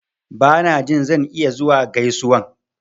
Ba na jin zan iya zuwa gaisuwan.